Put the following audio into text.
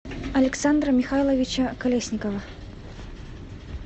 александра михайловича колесникова